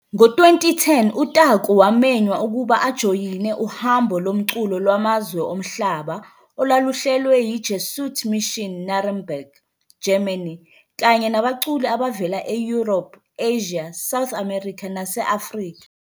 Ngo-2010 uTaku wamenywa ukuba ajoyine uhambo lomculo lwamazwe omhlaba olwaluhlelwe yi-Jesuit Mission Nuremberg, Germany, kanye nabaculi abavela e-Europe, Asia, South America nase Africa.